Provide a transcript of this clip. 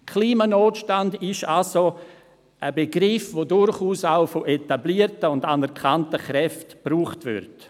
Klimanotstand ist also ein Begriff, der durchaus auch von etablierten und bekannten Kräften gebraucht wird.